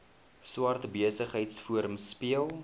swart besigheidsforum speel